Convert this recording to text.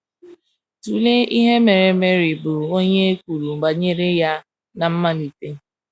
Tụlee ihe mere Mary, bụ́ onye e kwuru banyere ya ná mmalite.